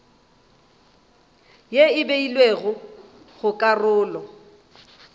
ye e beilwego go karolo